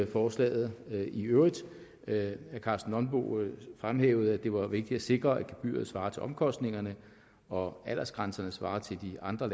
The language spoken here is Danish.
forslaget i øvrigt herre karsten nonbo fremhævede at det var vigtigt at sikre at gebyret svarer til omkostningerne og at aldersgrænserne svarer til de andre